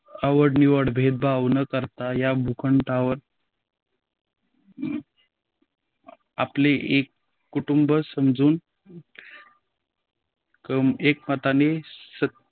आवडनिवड भेदभाव न करता या भूखंडावर आपले एक कुटंब समजून एकमताने